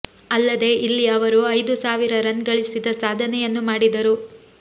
ಅಲ್ಲದೇ ಇಲ್ಲಿ ಅವರು ಐದು ಸಾವಿರ ರನ್ ಗಳಿಸಿದ ಸಾಧನೆಯನ್ನೂ ಮಾಡಿದರು